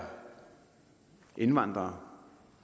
indvandrere